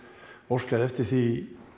óskaði eftir því